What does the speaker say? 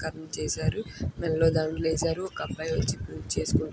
కరణ చేసారు. మెడలో దండలు ఏసారు.ఒక అబ్బాయి వచ్చి పూజ చేసుకుంటున్న--